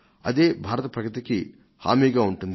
అదే భారత ప్రగతికి హామీగా ఉంటుంది